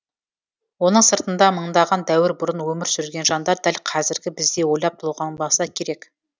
оның сыртында мыңдаған дәуір бұрын өмір сүрген жандар дәл қазіргі біздей ойлап толғанбаса керек